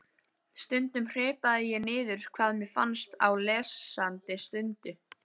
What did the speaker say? Stundum hripaði ég niður hvað mér fannst á lesandi stundu.